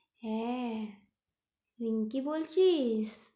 হ্যাঁ রিঙ্কি বলছিস?